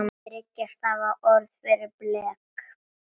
Þriggja stafa orð fyrir blek?